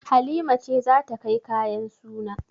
Halima ce za ta kai kayan suna.